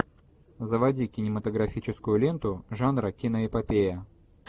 заводи кинематографическую ленту жанра киноэпопея